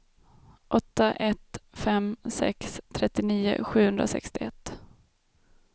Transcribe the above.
åtta ett fem sex trettionio sjuhundrasextioett